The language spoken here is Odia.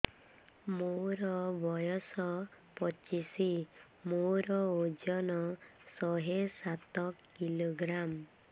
ମୋର ବୟସ ପଚିଶି ମୋର ଓଜନ ଶହେ ସାତ କିଲୋଗ୍ରାମ